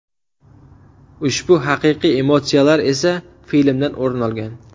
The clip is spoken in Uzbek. Ushbu haqiqiy emotsiyalar esa filmdan o‘rin olgan.